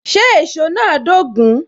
Ṣé èsó náà dogun?